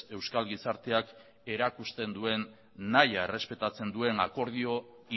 euskal gizarteak erakusten duen nahia errespetatzen duen akordio